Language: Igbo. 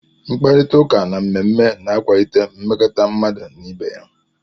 Mkparịta ụka na mmemme na-akwalite mmekọrịta mmadụ n'ibé ya.